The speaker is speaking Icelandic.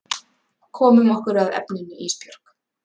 Komum okkur að efninu Ísbjörg.